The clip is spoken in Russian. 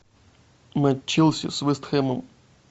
матч челси с вест хэмом